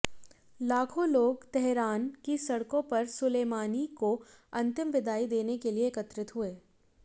लाखों लोग तेहरान की सड़कों पर सुलेमानी को अंतिम विदाई देने के लिए एकत्रित हुए